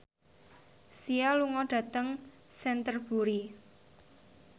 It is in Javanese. Sia lunga dhateng Canterbury